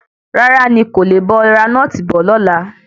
Rárá, ní kò le bá ọ ra nọ́ọ̀tì bọ̀ lọ́la.